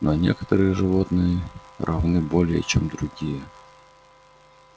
но некоторые животные равны более чем другие